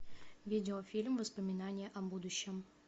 видеофильм воспоминания о будущем